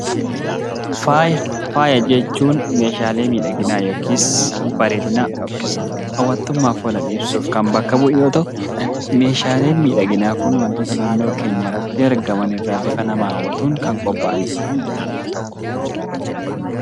Faaya jechuun meeshaalee miidhaginaa yookiis bareedinaa yookiis hawwattummaaf oolan ibsuuf kan bakka bu'u yoo ta'u, meeshaaleen miidhaginaa kun wantoota naannoo keenya irratti argaman irraa bifa nama hawwatuun kan qophaa'anidha.